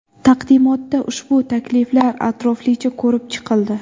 Taqdimotda ushbu takliflar atroflicha ko‘rib chiqildi.